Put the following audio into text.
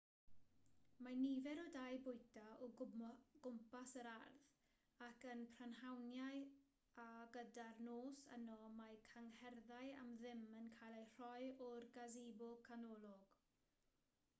mae nifer o dai bwyta o gwmpas yr ardd ac yn y prynhawniau a gyda'r nos yno mae cyngherddau am ddim yn cael eu rhoi o'r gasebo canolog